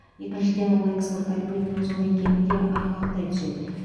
екіншіден ол экспорт әлеуетінің зор екені де айғақтай түседі